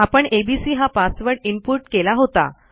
आपण एबीसी हा password input केला होता